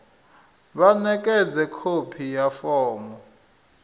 vha ṋekedze khophi ya fomo